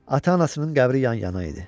Ata-anasının qəbri yan-yana idi.